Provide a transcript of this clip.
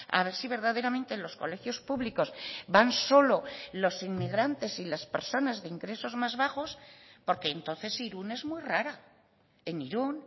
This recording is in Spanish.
a ver si verdaderamente los colegios públicos van solo los inmigrantes y las personas de ingresos más bajos porque entonces irun es muy rara en irun